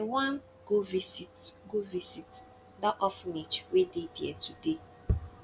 i wan go visit go visit dat orphanage wey dey there today